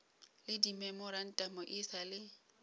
le dimemorantamo e sa le